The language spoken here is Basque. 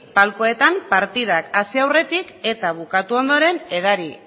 palkoetan partidak hasi aurretik eta bukatu ondoren edari